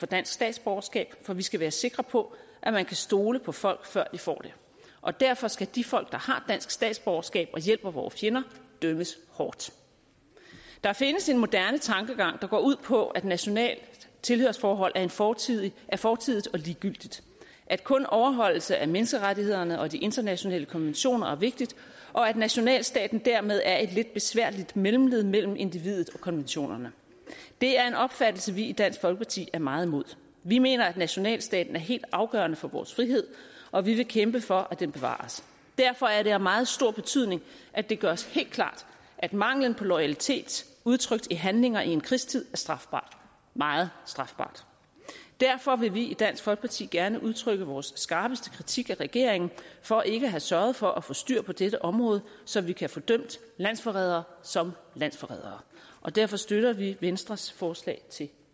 dansk statsborgerskab for vi skal være sikre på at man kan stole på folk før de får det og derfor skal de folk der har dansk statsborgerskab og hjælper vore fjender dømmes hårdt der findes en moderne tankegang der går ud på at nationalt tilhørsforhold er fortidigt er fortidigt og ligegyldigt at kun overholdelse af menneskerettighederne og de internationale konventioner er vigtigt og at nationalstaten dermed er et lidt besværligt mellemled mellem individet og konventionerne det er en opfattelse vi i dansk folkeparti er meget imod vi mener at nationalstaten er helt afgørende for vores frihed og vi vil kæmpe for at den bevares derfor er det af meget stor betydning at det gøres helt klart at manglen på loyalitet udtrykt i handlinger i en krigstid er strafbart meget strafbart derfor vil vi i dansk folkeparti gerne udtrykke vores skarpeste kritik af regeringen for ikke at have sørget for at få styr på dette område så vi kan få dømt landsforrædere som landsforrædere og derfor støtter vi venstres forslag til